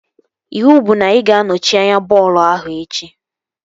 Iwu bụ na ị ga anọchi anya bọọlụ ahụ echi!